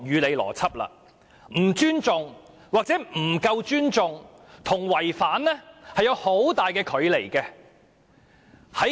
"不尊重"或"不夠尊重"與"違反"在字義上差距甚大。